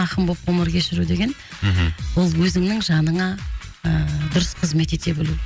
ақын боп ғұмыр кешіру деген мхм ол өзіңнің жаныңа ыыы дұрыс қызмет ете білу